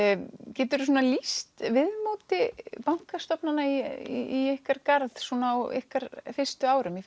geturðu lýst viðmóti bankastofnana í ykkar garð á ykkar fyrstu árum í